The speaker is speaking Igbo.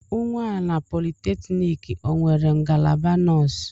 Unwana polytechnic o nwere ngalaba nọọsụ?